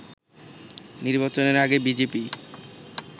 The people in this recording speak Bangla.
নির্বাচনের আগে বিজেপি